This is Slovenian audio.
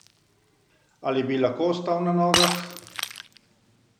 Ali bi lahko ostal na nogah?